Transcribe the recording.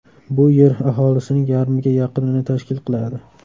Bu Yer aholisining yarmiga yaqinini tashkil qiladi.